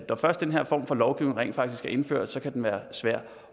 når først den her form for lovgivning rent faktisk er indført kan den være svær